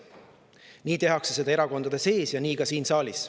Neid tehakse erakondade sees ja ka siin saalis.